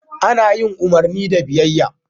Ana bin umarni da biyayya.